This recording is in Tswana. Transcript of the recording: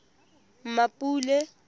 mmapule